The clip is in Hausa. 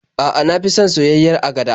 A'a, na fi son soyayyiyar agada.